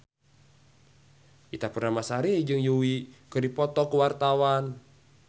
Ita Purnamasari jeung Yui keur dipoto ku wartawan